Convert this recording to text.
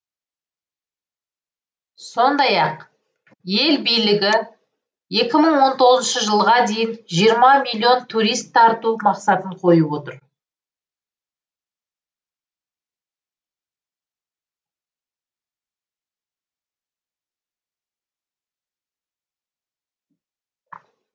сондай ақ ел билігі екі мың он тоғызыншы жылға дейін жиырма миллион турист тарту мақсатын қойып отыр